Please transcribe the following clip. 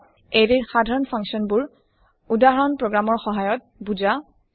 এৰে ৰ সাধাৰণ function basic function বোৰ উদাহৰণ প্ৰগ্ৰাম ৰ সহায়ত বুজা